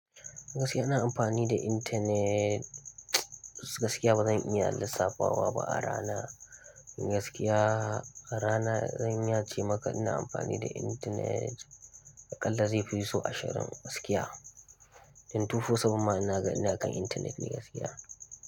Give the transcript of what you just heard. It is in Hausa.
Gaskiya ina amfani da intanet, gaskiya ba zan iya lissafa wa ba a rana. Gaskiya a rana zan iya cemaka ina amfani da intanet aƙalla zai fi sau ashirin gaskiya. In tufo seven ma ina ganin ina kan intanet ne gaskiya.